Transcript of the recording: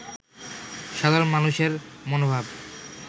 সাধরণ মানুষের মনোভাব